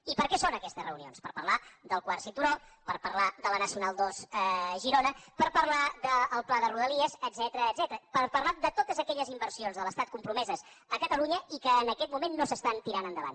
i per què són aquestes reunions per parlar del quart cinturó per parlar de la nacional ii a girona per parlar del pla de rodalies etcètera per parlar de totes aquelles inversions de l’estat compromeses a catalunya i que en aquest moment no s’estan tirant endavant